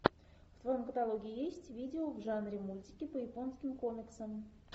в твоем каталоге есть видео в жанре мультики по японским комиксам